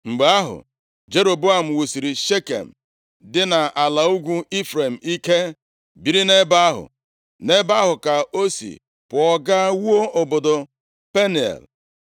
Mgbe ahụ, Jeroboam wusiri Shekem dị nʼala ugwu Ifrem ike, biri nʼebe ahụ. Nʼebe ahụ ka o si pụọ, gaa wuo obodo Peniel. + 12:25 Nʼasụsụ Hibru Penuel bụ otu ọzọ e si akpọ Peniel